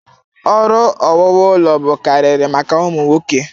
Ọrụ owuwu ụlọ bụkarịrị maka ụmụ nwoke.